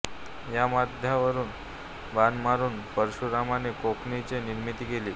या माथ्यावरूनच बाण मारून परशुरामाने कोकणची निर्मिती केली